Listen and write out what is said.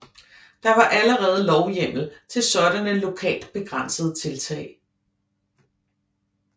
Der var allerede lovhjemmel til sådanne lokalt begrænsede tiltag